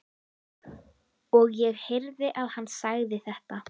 Og ég heyrði að hann sagði þetta.